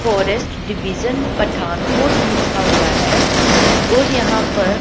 forest division Pathankot लिखा हुआ है और यहां पर--